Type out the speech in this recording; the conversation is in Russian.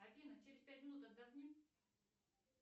афина через пять минут отдохни